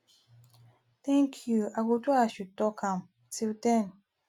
thank you i go do as you talk am till den